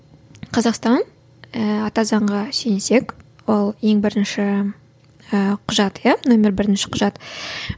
қазақстан ііі ата заңға сүйенсек ол ең бірінші ііі құжат иә нөмірі бірінші құжат